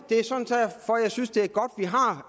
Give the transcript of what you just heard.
og jeg synes det